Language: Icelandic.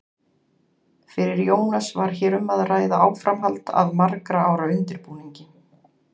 Fyrir Jónas var hér um að ræða áframhald af margra ára undirbúningi.